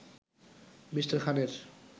Me. খানের